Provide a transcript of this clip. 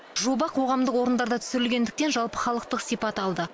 жоба қоғамдық орындарда түсірілгендіктен жалпыхалықтық сипат алды